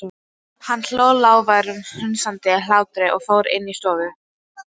Hann hló, lágværum, hnussandi hlátri og fór inn í stofu.